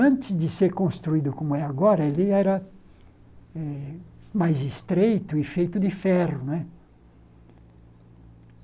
Antes de ser construído como é agora, ali era eh mais estreito e feito de ferro né.